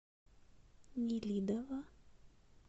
нелидово